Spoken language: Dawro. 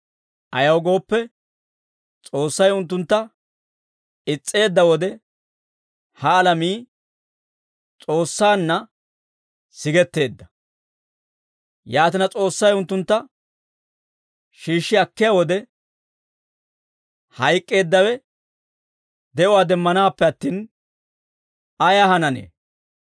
Ayaw gooppe, S'oossay unttuntta is's'eedda wode, ha alamii S'oossaanna sigetteedda. Yaatina S'oossay unttuntta shiishshi akkiyaa wode, hayk'k'eeddawe de'uwaa demmanaappe attin, ayee hananee?